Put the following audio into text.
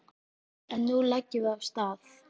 En nú leggjum við af stað!